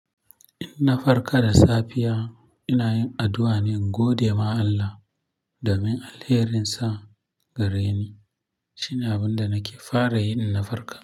Inna farka da safiya, ina yin addu'a ne in gode ma Allah domin alherinsa gareni. Shine abin da nake fara yi in na farka.